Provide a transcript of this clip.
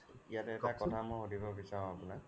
ইয়াতে এটা কথা সুধিব বিচাৰো মই আপুনাক